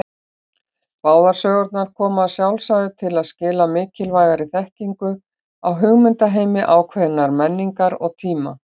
Báðar sögurnar koma að sjálfsögðu til skila mikilvægri þekkingu á hugmyndaheimi ákveðinnar menningar og tíma.